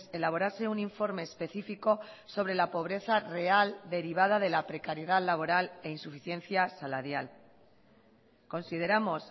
elaborase un informe específico sobre la pobreza real derivada de la precariedad laboral e insuficiencia salarial consideramos